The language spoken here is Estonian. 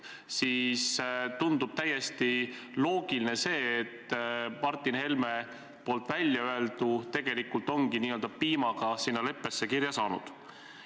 Nii tundub täiesti loogiline, et Martin Helme väljaöeldu tegelikult ongi n-ö piimaga sinna leppesse kirja pandud.